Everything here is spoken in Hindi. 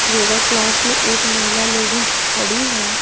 योगा क्लास में एक महिला लेडीज खड़ी है।